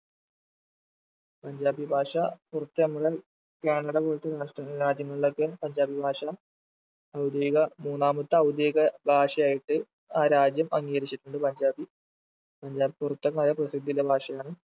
പഞ്ചാബി ഭാഷ കാനഡ പോലത്തെ നാഷ് രാജ്യങ്ങളിലൊക്കെ പഞ്ചാബി ഭാഷ ഔദ്യോഗിക മൂന്നാമത്തെ ഔദ്യോഗിക ഭാഷയായിട്ട് ആ രാജ്യം അംഗീകരിച്ചിട്ടുണ്ട് പഞ്ചാബി പഞ്ചാബി കൊരുത്തമായ പ്രസിദ്ധിത ഭാഷയാണ്